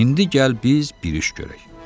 İndi gəl biz bir iş görək.